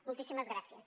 moltíssimes gràcies